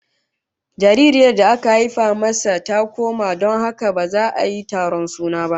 Jaririyar da aka haifa masa ta koma, don haka ba za su yi taron suna ba